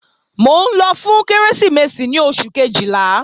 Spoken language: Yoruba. Mò ń lọ fún Kérésìmesì ní oṣù Kejìlá